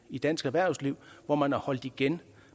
i dansk erhvervsliv hvor man har holdt igen